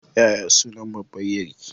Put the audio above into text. Yaya sunan babbar ƴarki?